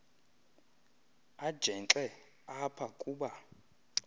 ajenxe apha kuba